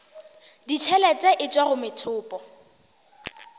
ditšhelete e tšwa go methopo